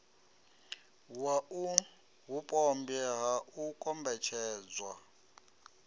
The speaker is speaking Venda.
wau vhupombwe ha u kombetshedzwa